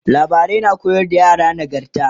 labarai na koyar da yara nagarta